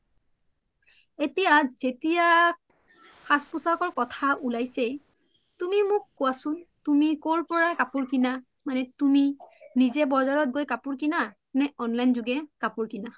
এতিয়া যেতিয়া খাজ পুচাকৰ কোথা উলাইছেয়ে তুমি মোক কুৱাচোন কৰ পৰা কাপুৰ কিনা মানে তুমি নিজে বোজাৰত গই কাপুৰ কিনা নে online জুগে কাপুৰ কিনা?